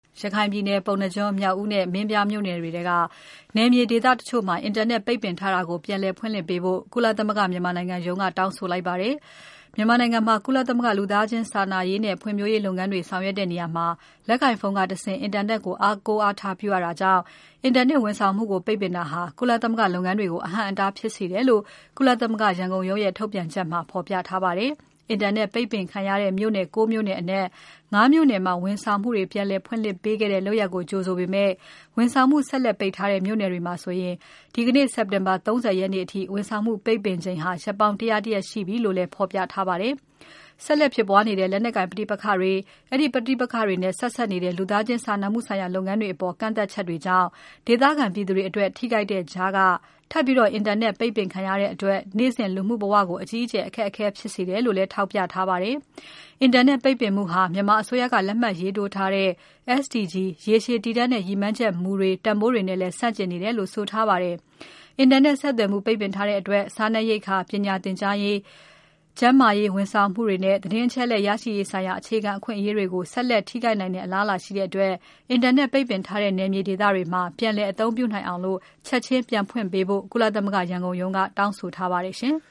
ရခိုင်ပြည်နယ် ပုဏ္ဏားကျွန်း၊ မြောက်ဦးနှင့် မင်းပြားမြို့နယ်တွေထဲက နယ်မြေဒေသ တချို့မှာ အင်တာနက် ပိတ်ပင်ထားတာကို ပြန်လည်ဖွင့်လှစ်ပေးဖို့ ကုလသမဂ္ဂ မြန်မာနိုင်ငံရုံးက တောင်းဆိုလိုက်ပါတယ်။ မြန်မာနိုင်ငံမှာ ကုလသမဂ္ဂ လူသားချင်းစာနာရေးနဲ့ ဖွံ့ဖြိုးရေး လုပ်ငန်းတွေ ဆောင်ရွက်တဲ့နေရာမှာ လက်ကိုင်ဖုန်းကတဆင့် အင်တာနက်ကို အားကိုး အားထားပြုရတာကြောင့် အင်တာနက် ဝန်ဆောင်မှုကို ပိတ်ပင်တာဟာ ကုလသမဂ္ဂလုပ်ငန်းတွေကို အဟန့်အတားဖြစ်စေတယ်လို့ ကုလသမဂ္ဂ ရန်ကုန်ရုံးရဲ့ ထုတ်ပြန်ချက်မှာ ဖော်ပြထားပါတယ်။ အင်တာနက်ပိတ်ပင်ခံရတဲ့ မြို့နယ် ၉ မြို့နယ်အနက် ၅ မြို့နယ်မှာ ဝန်ဆောင်ပြန်လည်ဖွင့်ပေးခဲ့တဲ့ လုပ်ရပ်ကို ကြိုဆိုပေမဲ့ ဝန်ဆောင်မှု ဆက်လက်ပိတ်ထားတဲ့ မြို့နယ်တွေမှာဆိုရင် ဒီနေ့ စက်တင်ဘာ ၃၀ ရက်နေ့အထိ ဝန်ဆောင်မှု ပိတ်ပင်ချိန် ရက်ပေါင်း ၁၀၁ ရက်ပြီလို့လည်း ဖော်ပြထားပါတယ်။ ဆက်လက် ဖြစ်ပွားနေတဲ့ လက်နက်ကိုင်ပဋိပက္ခတွေ၊ အဲဒီပဋိပက္ခတွေနဲ့ ဆက်စပ်နေတဲ့ လူသားချင်းစာနာမှုဆိုင်ရာ လုပ်ငန်းတွေအပေါ် ကန့်သတ်ချက်တွေကြောင့် ဒေသခံပြည်သူတွေအတွက် ထိခိုက်တဲ့ကြားက ထပ်ပြီး အင်တာနက် ပိတ်ပင်ခံရတဲ့အတွက် နေ့စဉ်လူမှုဘဝကို အကြီးအကျယ် အခက်အခဲဖြစ်စေတယ်လို့လည်း ထောက်ပြထားပါတယ်။ အင်တာနက် ပိတ်ပင်မှုဟာ မြန်မာအစိုးရက လက်မှတ်ရေးထိုးထားတဲ့ SDG ရေရှည် တည်တံ့တဲ့ ရည်မှန်းချက်မူတွေ၊တန်ဖိုးတွေနဲ့လည်း ဆန့်ကျင်နေတယ်လို့ ဆိုထားပါတယ်။ အင်တာနက်ဆက်သွယ်မှုပိတ်ထားတဲ့အတွက် စားနပ်ရိက္ခာ၊ ပညာသင်ကြားရေး၊ ကျန်းမာရေး ဝန်ဆောင်မှုများနဲ့ သတင်းအချက်အလက် ရရှိရေးဆိုင်ရာ အခြေခံ အခွင့်အရေးတွေကို ဆက်လက်ထိခိုက်နိုင်တဲ့ အလားအလာရှိတဲ့အတွက် အင်တာနက်ပိတ်ထားတဲ့ နယ်မြေဒေသတွေမှာ ပြန်လည်အသုံးပြုနိုင်အောင် ချက်ချင်း ပြန်ဖွင့်ပေးဖို့ ကုလသမဂ္ဂ ရန်ကုန်ရုံးက တောင်းဆိုထားပါတယ်ရှင်။